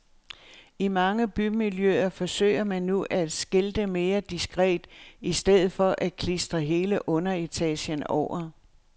I mange bymiljøer forsøger man nu at skilte mere diskret i stedet for at klistre hele underetagen over.